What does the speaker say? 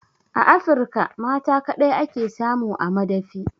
A Afirka mata kaɗai ake samu a madafi